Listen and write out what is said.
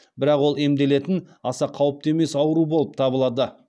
бірақ ол емделетін аса қауіпті емес ауру болып табылады